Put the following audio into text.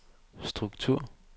struktur